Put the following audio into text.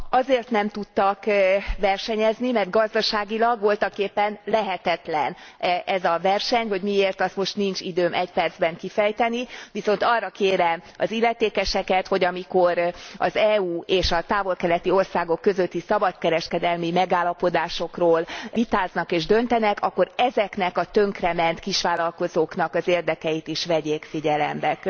Azért nem tudtak versenyezni, mert gazdaságilag voltaképpen lehetetlen ez a verseny, hogy miért, azt most nincs időm egy percben kifejteni, viszont arra kérem az illetékeseket, hogy amikor az EU és a távol keleti országok közötti szabadkereskedelmi megállapodásokról vitáznak és döntenek, akkor ezeknek a tönkrement kisvállalkozóknak az érdekeit is vegyék figyelembe.